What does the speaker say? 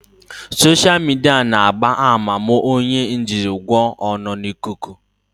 Soshal midia na-agba àmà ma onye ojingwa ọ nọ n'ikuku